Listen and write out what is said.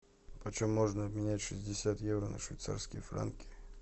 почем можно обменять шестьдесят евро на швейцарские франки